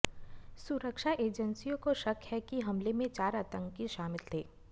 सुरक्षा एजेंसियों को शक है कि हमले में चार आतंकी शामिल थे